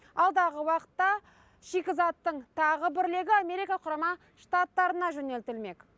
алдағы уақытта шикізаттың тағы бір легі америка құрама штаттарына жөнелтілмек